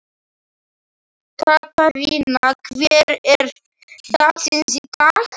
Katharina, hver er dagsetningin í dag?